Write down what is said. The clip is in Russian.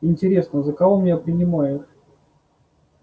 интересно за кого он меня принимает